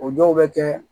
O dɔw bɛ kɛ